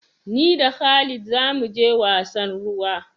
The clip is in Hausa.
Ni da khalid za mu je wasan ruwa.